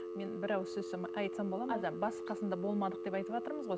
мен бір ауыз айтсам болады ма басы қасында болмадық деп айтыватырмыз ғой